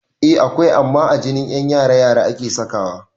Eh akwai amma a ajin ƴan yara - yara ake sakawa